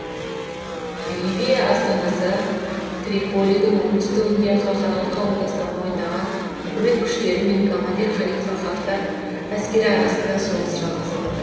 ливия астанасы триполидің оңтүстігінде халықаралық қауымдастық мойындаған үкімет күштері мен коммандир халифа хафтар әскері арасында соғыс жалғасып жатыр